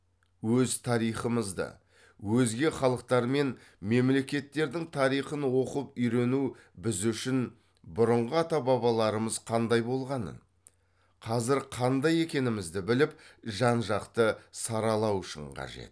өз тарихымызды өзге халықтар мен мемлекеттердің тарихын оқып үйрену біз үшін бұрынғы ата бабаларымыз қандай болғанын қазір қандай екенімізді біліп жан жақты саралау үшін қажет